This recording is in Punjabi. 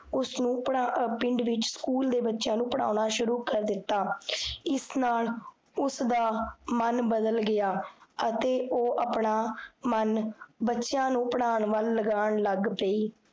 ਉਸਨੇ ਆਹ ਪਿੰਡ ਵਿਚ ਸਕੂਲ ਦੇ ਬਚਿਆਂ ਨੂੰ ਪੜ੍ਹਾਉਣਾ ਸ਼ੁਰੂ ਕਰ ਦਿੱਤਾ ਇਸ ਨਾਲ ਉਸਦਾ ਮਨ ਬਦਲ ਗਿਆ ਅਤੇ ਓਹ ਆਪਣਾ, ਮਨ ਬ੍ਚੇਆਂ ਨੂੰ ਪੜ੍ਹਾਉਣ ਵੱਲ ਲਗਾਨ ਲੱਗ ਪੀ